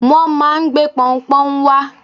Wọn máà ń gbé pọunpọ́ún wọn wá.